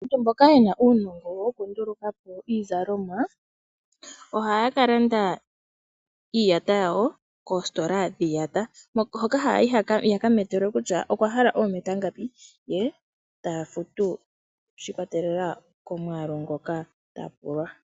Aantu mboka yena uunongo woku nduluka po iizalomwa ohaya kalanda iiyata yawo koositola dhiiyata hoka haya yi yakametelwe kutya okwa hala oometa ngapi, ye tafutu shiikwatelela komuyalu ngoka tapulwa.